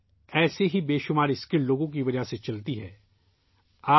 ایسے کئی ہنر مند لوگوں کی وجہ سے ہماری زندگی چلتی ہے